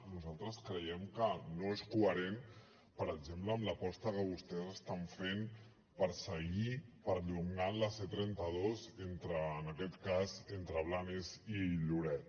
nosaltres creiem que no és coherent per exemple amb l’aposta que vostès estan fent per seguir perllongant la c trenta dos entre en aquest cas entre blanes i lloret